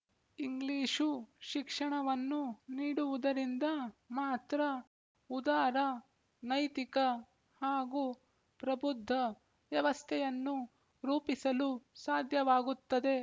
English ಶಿಕ್ಷಣವನ್ನು ನೀಡುವುದರಿಂದ ಮಾತ್ರ ಉದಾರ ನೈತಿಕ ಹಾಗೂ ಪ್ರಬುದ್ಧ ವ್ಯವಸ್ಥೆಯನ್ನು ರೂಪಿಸಲು ಸಾಧ್ಯವಾಗುತ್ತದೆ